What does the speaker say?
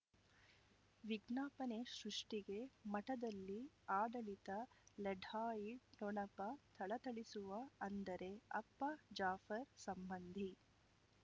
ವಿಜ್ಞಾಪನೆ ಸೃಷ್ಟಿಗೆ ಮಠದಲ್ಲಿ ಆಡಳಿತ ಲಢಾಯಿ ಠೊಣಪ ಥಳಥಳಿಸುವ ಅಂದರೆ ಅಪ್ಪ ಜಾಫರ್ ಸಂಬಂಧಿ